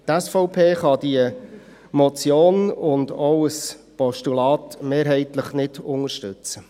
Die SVP kann diese Motion und auch ein Postulat mehrheitlich nicht unterstützen.